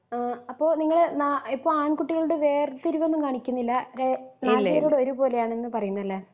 ആ അപ്പൊ നിങ്ങള് നാ ആണ്കുട്ടികളോട് വേർതിരിവൊന്നും കാണിക്കുന്നില്ല ര നാലുപേരോടും ഒരുപോലെ ആണന്നു പറയുന്നു അല്ലെ?